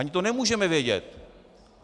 Ani to nemůžeme vědět.